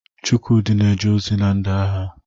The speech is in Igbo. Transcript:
Chukwudi na-eje ozi ndị agha.